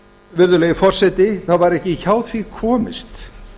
virðulegi forseti það var ekki hjá því komist